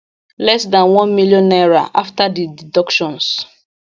less dan one million naira afta di deductions